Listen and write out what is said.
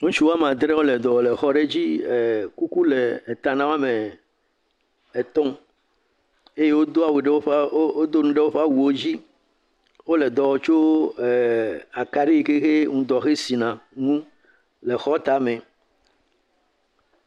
Ŋutsu woame adre wole dɔ wɔm le xɔ aɖe dzi. Kuku le eta nawò ame etɔ eye wodo nu ɖe woƒe awu wò dzi. Wòle eɖɔ wɔ le akaɖi yike ŋdɔ he sia nu. Le xɔ tame.